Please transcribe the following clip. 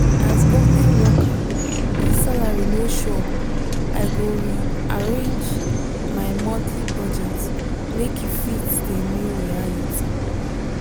as government worker if salary no sure i go re-arrange my monthly budget make e fit the new reality.